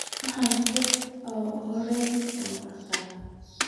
Waxanahy qifkii oo horeye oo arko.